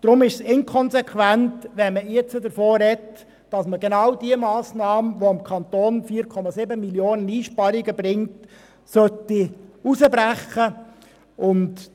Deshalb ist es inkonsequent, jetzt davon zu sprechen, genau diese Massnahme, welche dem Kanton 4,7 Mio. Franken an Einsparungen bringt, herauszubrechen.